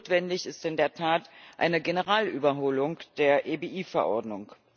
Notwendig ist in der Tat eine Generalüberholung der EBI Verordnung.